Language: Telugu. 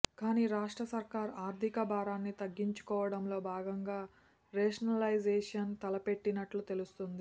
కానీ రాష్ట్ర సర్కారు ఆర్థిక భారాన్ని తగ్గించుకోవడంలో భాగంగా రేషనలైజేషన్ తలపెట్టినట్లు తెలుస్తోంది